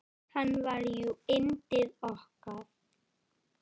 Hann var jú yndið okkar.